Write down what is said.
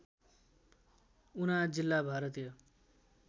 उना जिल्ला भारतीय